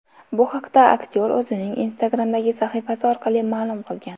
Bu haqda aktyor o‘zining Instagram’dagi sahifasi orqali ma’lum qilgan .